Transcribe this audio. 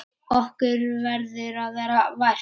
Okkur verður að vera vært!